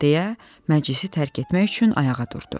deyə məclisi tərk etmək üçün ayağa durdu.